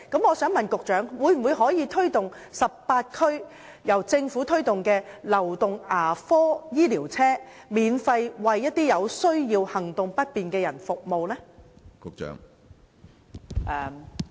我想問局長，政府可否在18區推動公營流動牙科醫療車服務，免費為有需要或行動不便的人士提供服務？